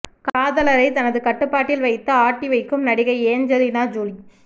காதலரை தனது கட்டுப்பாட்டில் வைத்து ஆட்டி வைக்கும் நடிகை ஏஞ்சலினா ஜூலி